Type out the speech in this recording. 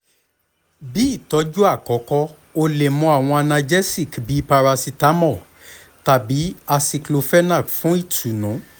bi itọju akọkọ o le mu awọn analgesics bi paracetamol tabi aceclofenac fun itunu